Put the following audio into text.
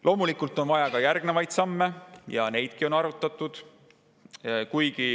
Loomulikult on vaja ka järgnevaid samme ja neidki on arutatud.